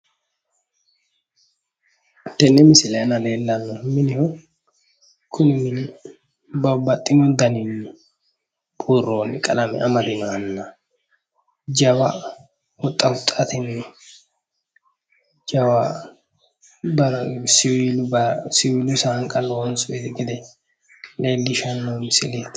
tene misile aana leellanohu mineho kuni mini babbaxino danini buronni qalame amadino jawa huxxa huxxateni jawa siiwilu sanqa lonsonni gede leellishano misileti